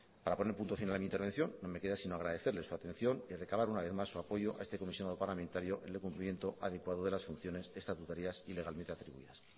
para poner punto final a mi intervención no me queda sino agradecerles su atención y recabar una vez más su apoyo a este comisionado parlamentario en el cumplimiento adecuado de las funciones estatutarias y legalmente atribuidas